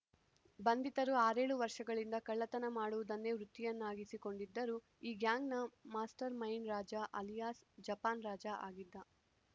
ಬಂಧಿತರು ಆರೇಳು ವರ್ಷಗಳಿಂದ ಕಳ್ಳತನ ಮಾಡುವುದನ್ನೇ ವೃತ್ತಿಯನ್ನಾಗಿಸಿ ಕೊಂಡಿದ್ದರು ಈ ಗ್ಯಾಂಗ್‌ನ master mind Raja alias Japan Raja ಆಗಿದ್ದ